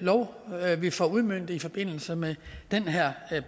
lov vi får udmøntet i forbindelse med den her